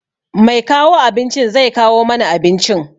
Mai kawo abinci zai kawo mana abincin.